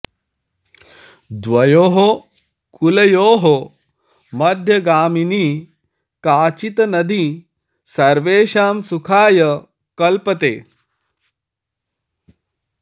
द्वयोः कूलयोः मध्यगामिनी काचित् नदी सर्वेषां सुखाय कल्पते